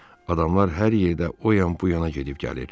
Adamlar hər yerdə o yan-bu yana gedib gəlir.